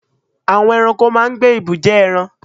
Àwọn eranko máa n gbé ibùjẹ́ eran